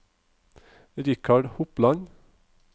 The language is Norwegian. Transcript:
Richard Hopland